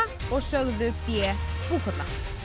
og sögðu b Búkolla